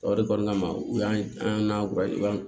O de kɔnɔna na u y'an